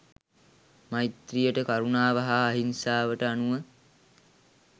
මෛත්‍රීයට කරුණාවට හා අහිංසාවට අනුව